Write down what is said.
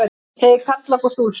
Segir Karl Ágúst Úlfsson.